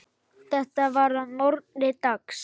Þetta var að morgni dags.